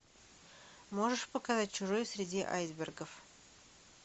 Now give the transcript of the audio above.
можешь показать чужой среди айсбергов